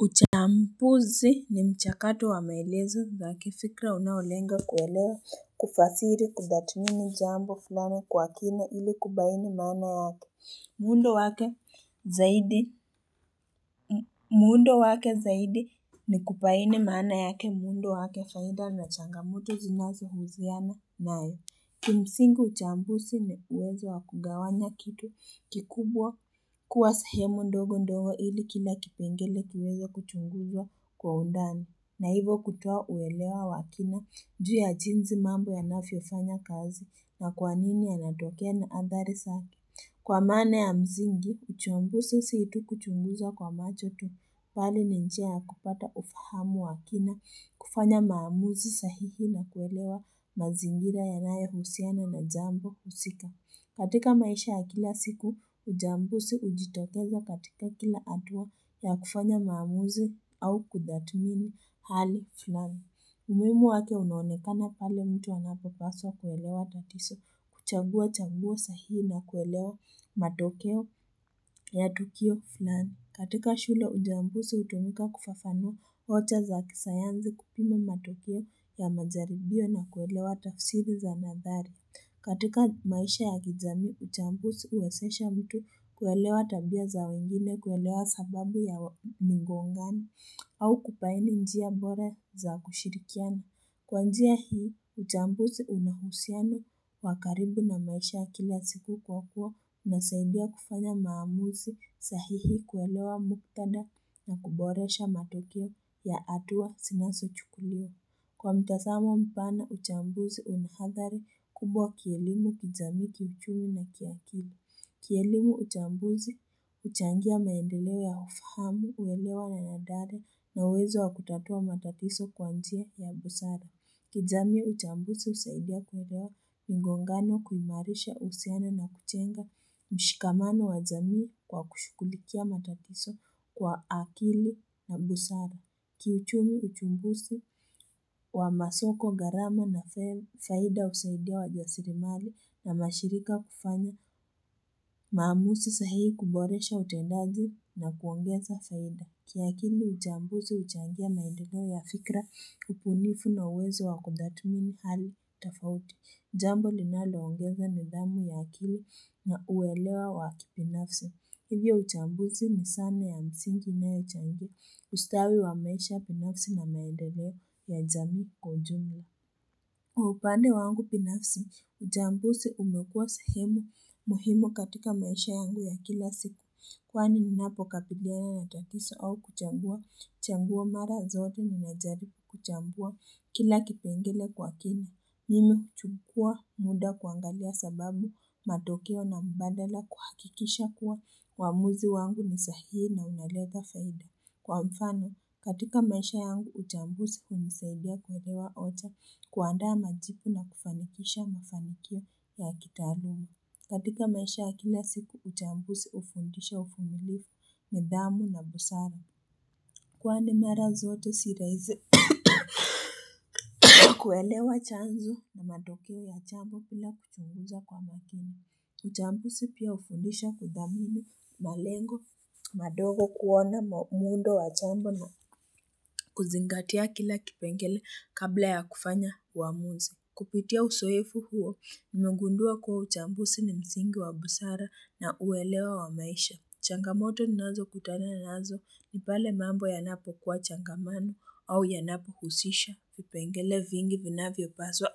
Uchambuzi ni mchakatu wamaelezu zake fikra unaolenga kuwelewa kufasiri kudatumini jambo fulana kwa kina ili kubaini mana yake Mundo wake zaidi ni kupaini mana yake mundo wake faida na changamoto zinazo huziana nae Kimsingu uchambusi ni uwezo wa kugawanya kitu kikubwa kuwa sahemu ndogo ndogo ili kila kipengele kiwezo kuchunguzwa kwa undani. Na hivo kutoa uwelewa wakina juu ya jinzi mambo ya nafiofanya kazi na kwanini ya natokea na andhari saki. Kwa mane ya mzingi, uchuambusi situ kuchunguza kwa macho tu pali ninjia ya kupata ufahamu wakina, kufanya maamuzi sahihi na kuelewa mazingira ya naye husiana na jambu husika. Katika maisha ya kila siku, ujambusi ujitoteza katika kila atua ya kufanya maamuzi au kudamini hali fulani. Umimu wake unaonekana pale mtu wanapepaswa kwelewa tatiso kuchabua chambua sahi na kwelewa matokeo ya tukio fulani. Katika shule ujambusi utumika kufafano ocha za kisayanzi kupime matokeo ya mazaribio na kwelewa tafsiri za nadhari. Katika maisha ya gizami, uchambuzi uwasesha mtu kuwelewa tabia za wengine kuwelewa sababu ya mingongani au kupaini njia bore za kushirikiana. Kwa njia hii, uchambuzi unahusiana wakaribu na maisha kila siku kwa kuwa na saibia kufanya maamuzi sahihi kuwelewa muktada na kuboresha matokio ya atua sinaso chukulio. Kwa mtathama mpana uchambuzi unahadhari kubwa kielimu kizami kichumi na kiakili. Kielimu uchambuzi uchangia maendelewe ya ufahamu uwelewa na nadare na wezo wa kutatua matatiso kwantia ya busara. Kizami uchambuzi usaidia kurewa mgongano kumarisha usiana na kuchenga mshikamano wa zami kwa kushukulikia matatiso kwa akili na busara. Kiuchumi uchumbusi wa masoko garama na faida usaidia wa jasirimali na mashirika kufanya, maamusi sahihi kuboresha utendazi na kuongeza faida. Kiakili uchambusi uchangia na indigo ya fikra kupunifu na uwezo wa kundatumini hali tafauti. Jambo linalo ongeza ni damu ya akili na uwelewa wa kibinafsi. Hili uchambuzi misane ya msingi na uchambu ustawi wa maisha binafsi na naendelea ya jami kujungu. Uhupande wangu binafsi, uchambuzi umekuwa sahemu, muhimu katika maisha yangu ya kila siku. Kwani ninapo kapidiana na tuakisa au kuchambua, changuwa mara zoto ni mazari kuchambua kila kipengele kwa kina. Nini chukua muda kuangalia sababu matokeo na mbandala kuhakikisha kuwa wamuzi wangu misahihi na unaleka faida. Kwa mfano, katika maisha yangu uchambusi kumisaidia kuwelewa ocha kuandaa majipu na kufanikisha mafanikio ya kitarumu. Katika maisha ya kila siku uchambusi ufundisha ufumilifu, medamu na busara. Kwa ni mara zoto sirazi kuelewa chanzo na matokeo ya chambu pila kutunguja kwa makini. Uchambusi pia ufundisha kudamini malengo madogo kuona mundo wa chambu na kuzingatia kila kipengele kabla ya kufanya uamuza. Kupitia usoefu huo nimugundua kwa uchambusi ni msingi wa busara na uelewa wa maisha. Changamoto ninazo kutana ninazo ni pale mambo yanapo kwa changamano au yanapo husisha, upengele vingi vina vyopaswa,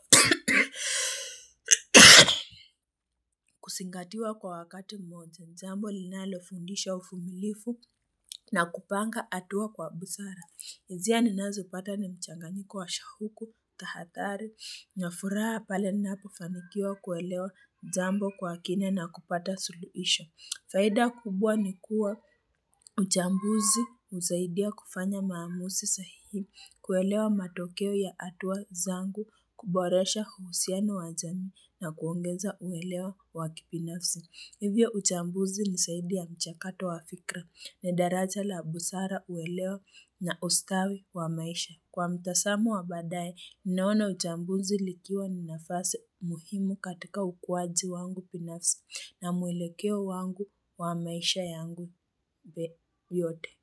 kusingatiwa kwa wakati moja. Nzambo linalofundisha uvumilifu na kupanga atua kwa busara. Ezia ninazo pata ni mchanga nikuwa shahuku, tahathari, ninafuraa pale ninapo familia kuelewa nzambo kwa kine na kupata suluisha. Faida kubwa ni kuwa uchambuzi uzaidia kufanya maamusi sahihi kuelewa matokeo ya atuwa zangu kuboresha kuhusiana wajani na kuongeza uwelewa waki binafsi. Hivyo uchambuzi ni saidi ya mchakato wa fikra na daraja la abusara uwelewa na ustawi wa maisha. Kwa mtasamu wa badaye, ninaona ujambunzi likiwa ninafase muhimu katika ukwaji wangu pinafsi na muilekeo wangu wa maisha yangu be yote.